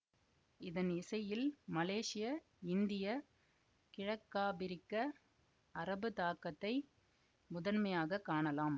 இதன் இசையில் மலேசிய இந்திய கிழக்காபிரிக்க அரபு தாக்கத்தை முதன்மையாக காணலாம்